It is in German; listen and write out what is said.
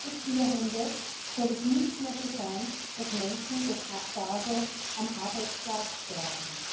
21. Jahrhundert soll es nicht mehr so sein, dass Menschen durch Abgase am Arbeitsplatz sterben.